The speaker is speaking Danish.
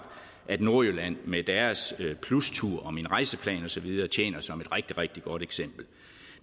at nordjylland med deres plustur og minrejseplan og så videre tjener som et rigtig rigtig godt eksempel